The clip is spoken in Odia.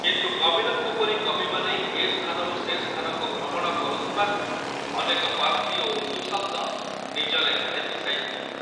କିନ୍ତୁ କବିରଙ୍କ ପରି କବିମାନେ ଏ ସ୍ଥାନରୁ ସେ ସ୍ଥାନକୁ ଭ୍ରମଣ କରୁଥିବାରୁ ଅନେକ ପାର୍ସୀ ଓ ଉର୍ଦୁ ଶବ୍ଦ ନିଜ ଲେଖାରେ ମିଶାଇ ଥିଲେ।